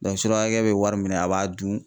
surakɛ bɛ wari minɛ a b'a dun.